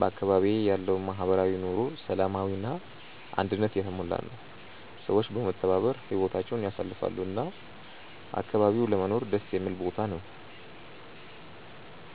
በአካባቢዬ ያለው ማህበራዊ ኑሮ ሰላማዊ እና አንድነት የተሞላ ነው፤ ሰዎች በመተባበር ህይወታቸውን ያሳልፋሉ እና አካባቢው ለመኖር ደስ የሚል ቦታ ነው።